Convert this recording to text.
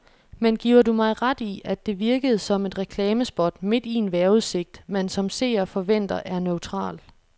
Men giver du mig ret i, at det virkede som et reklamespot midt i en vejrudsigt, man som seer forventer er neutral.